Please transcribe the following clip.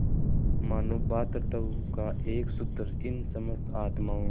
मानों भ्रातृत्व का एक सूत्र इन समस्त आत्माओं